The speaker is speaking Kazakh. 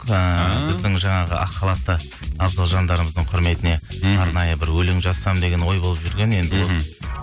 ыыы біздің жаңағы ақ халатты абзал жандарымыздың құрметіне мхм арнайы бір өлең жазсам деген ой болып жүрген енді мхм осы